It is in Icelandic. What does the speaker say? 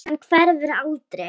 Hann hverfur aldrei.